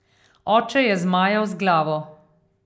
Oče je zmajal z glavo.